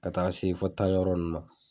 Ka taa se fo tan yɔrɔ ninnu na